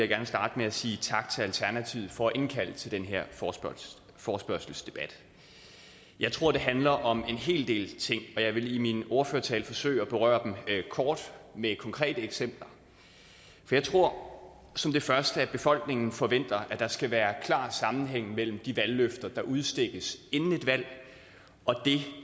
gerne starte med at sige tak til alternativet for at indkalde til den her forespørgselsdebat jeg tror det handler om en hel del ting og jeg vil i min ordførertale forsøge at berøre dem kort med konkrete eksempler jeg tror som det første at befolkningen forventer at der skal være klar sammenhæng mellem de valgløfter der udstikkes inden et valg og det